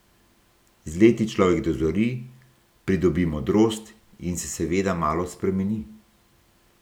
Z leti človek dozori, pridobi modrost in se seveda malo spremeni.